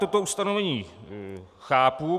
Toto ustanovení chápu.